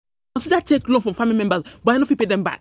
I dey consider take loan from family member, but I no fit pay dem back.